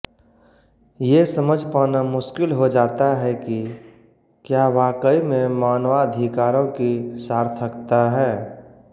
ये समझ पाना मुश्किल हो जाता है कि क्या वाकई में मानवाधिकारों की सार्थकता है